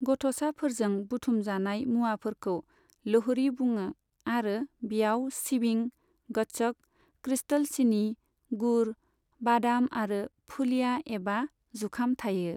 गथ'साफोरजों बुथुम जानाइ मुआफोरखौ लोहड़ी बुङो आरो बियाव सिबिं, गच्छक, क्रिस्टल सिनि, गुर, बादाम आरो फुलिया एबा जुखाम थायो।